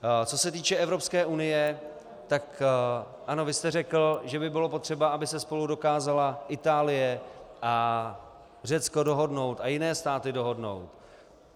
Co se týče Evropské unie, tak ano, vy jste řekl, že by bylo potřeba, aby se spolu dokázala Itálie a Řecko dohodnout a jiné státy dohodnout.